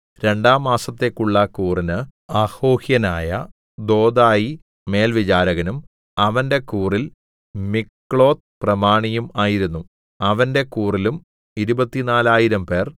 രണ്ടാം മാസത്തേക്കുള്ള കൂറിന് അഹോഹ്യനായ ദോദായി മേൽവിചാരകനും അവന്റെ കൂറിൽ മിക്ലോത്ത് പ്രമാണിയും ആയിരുന്നു അവന്റെ കൂറിലും ഇരുപത്തിനാലായിരംപേർ 24000